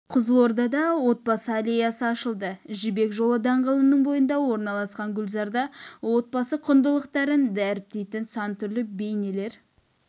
қызылордада отбасы аллеясы ашылды жібек жолы даңғылының бойында орналасқан гүлзарда отбасы құндылықтарын дәріптейтін сан түрлі бейнелер